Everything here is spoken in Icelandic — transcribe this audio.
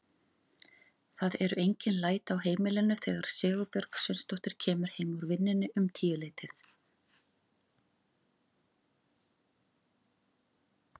Það eru engin læti á heimilinu þegar Sigurbjörg Sveinsdóttir kemur heim úr vinnunni um tíuleytið.